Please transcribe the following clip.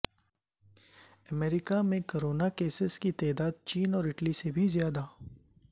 امریکہ میں corona cases کی تعداد چین اور اٹلی سے بھی زیادہ